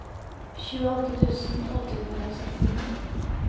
tjueåtte tusen åtte hundre og sekstini